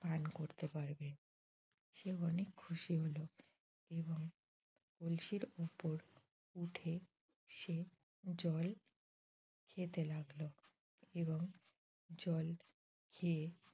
পান করতে পারবে। সে অনেক খুশি হল। এবং কলসির উপর উঠে সে জল খেতে লাগল এবং জল খেয়ে